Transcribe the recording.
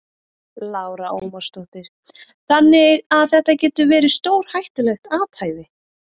Lára Ómarsdóttir: Þannig að þetta getur verið stórhættulegt athæfi?